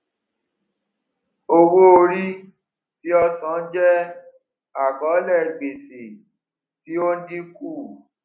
owóorí tí ọ sàn jẹ àkọọlẹ gbèsè tí ó ń dínkù